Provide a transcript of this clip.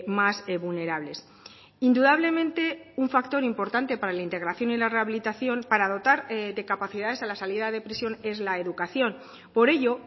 más vulnerables indudablemente un factor importante para la integración y la rehabilitación para dotar de capacidades a la salida de prisión es la educación por ello